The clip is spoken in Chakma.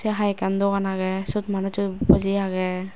se hai ekkan dogan agey sot manuj so boji agey.